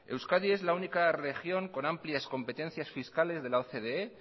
euskadi es la única región con amplias competencias fiscales de la ocde